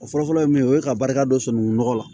O fɔlɔfɔlɔ ye mun ye o ye ka barika don sunukun nɔgɔ la